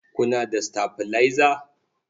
Kuna da sitabilaiza?